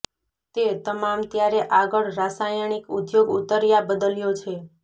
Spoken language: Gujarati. તે તમામ ત્યારે આગળ રાસાયણિક ઉદ્યોગ ઊતર્યા બદલ્યો છે